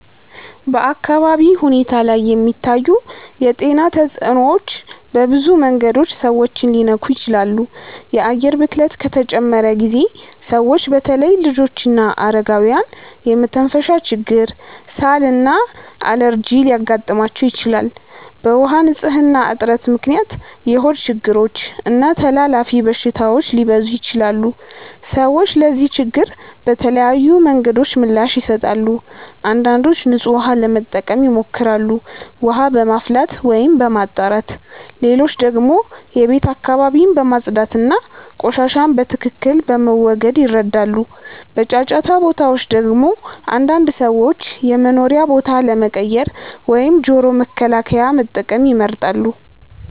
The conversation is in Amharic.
በአካባቢ ሁኔታ ላይ የሚታዩ የጤና ተጽዕኖዎች በብዙ መንገዶች ሰዎችን ሊነኩ ይችላሉ። የአየር ብክለት ከተጨመረ ጊዜ ሰዎች በተለይ ልጆችና አረጋውያን የመተንፈሻ ችግር፣ ሳል እና አለርጂ ሊያጋጥማቸው ይችላል። በውሃ ንፅህና እጥረት ምክንያት የሆድ ችግሮች እና ተላላፊ በሽታዎች ሊበዙ ይችላሉ። ሰዎች ለዚህ ችግር በተለያዩ መንገዶች ምላሽ ይሰጣሉ። አንዳንዶች ንጹህ ውሃ ለመጠቀም ይሞክራሉ፣ ውሃ በማፍላት ወይም በማጣራት። ሌሎች ደግሞ የቤት አካባቢን በማጽዳት እና ቆሻሻን በትክክል በመወገድ ይረዳሉ። በጫጫታ ቦታዎች ደግሞ አንዳንድ ሰዎች የመኖሪያ ቦታ ለመቀየር ወይም ጆሮ መከላከያ መጠቀም ይመርጣሉ።